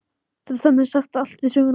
Þetta stemmir sem sagt allt við söguna.